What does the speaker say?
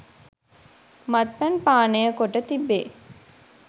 මත්පැන් පානය කොට තිබේ.